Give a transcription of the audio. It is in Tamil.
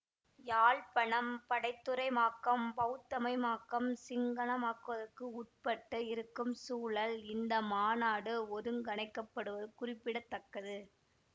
யாழ்ப்பணம் படைத்துறைமாக்கம் பெளத்தமயமாக்கம் சிங்களமாக்கத்துக்கு உட்பட்டு இருக்கும் சூழலில் இந்த மாநாடு ஒழுங்கமைக்கப்படுவது குறிப்பிட தக்கது